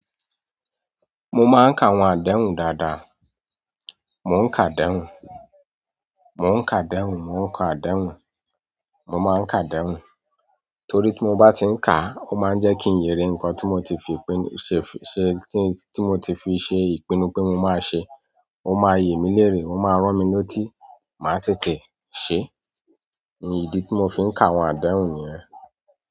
Mo máa n ka àwọn àdéhùn dáadáa. Mo n ka àdéhùn mo n ka àdéhùn mo n ka àdéhùn mo máa n ka àdéhùn. Torí tí mo bá ti ń ka, ó máa ń jẹ́ kí n yere nǹkan tí mo ti fi ṣe, ṣe, tí mo ti fi ṣe ìpinnu pé mo máa ṣe. Ó máa n yè mí léèrè, ó máa rán mi letí, màá tètè ṣe. Ǹí ìdí tí mo fi ń ka àwọn àdéhùn niyẹn.